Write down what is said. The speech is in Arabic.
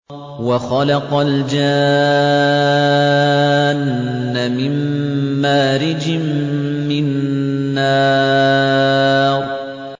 وَخَلَقَ الْجَانَّ مِن مَّارِجٍ مِّن نَّارٍ